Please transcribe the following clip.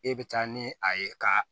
E bɛ taa ni a ye ka